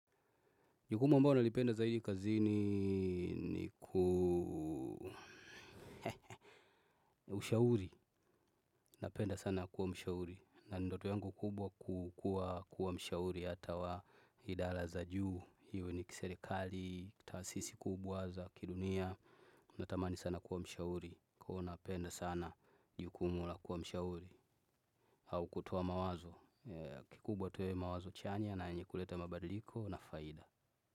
Jukumu ambola nalipenda zaidi kazini ni ku ushauri. Napenda sana kuwa mshauri. Na ndoto yangu kubwa kukua kuwa mshauri hata wa idara za juu. Hiyo ni kiserekali, kitaasisi kubwa za, kidunia. Natamani sana kuwa mshauri. Kwa hiyo napenda sana jukumu la kuwa mshauri. Au kutoa mawazo. Kikubwa tu yawe mawazo chanya na yenye kuleta mabadiliko na faida.